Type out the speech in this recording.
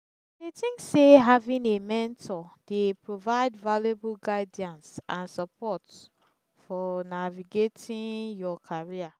e think say having a mentor dey provide valuable guidance and support fo navigating your career.